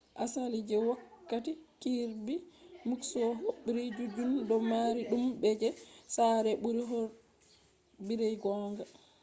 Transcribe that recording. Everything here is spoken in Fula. asali je wokkati kirby muxloe hobribe juddum do mari dudum je fortified sare buri hobribe gonga